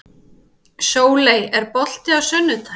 Sóley, er bolti á sunnudaginn?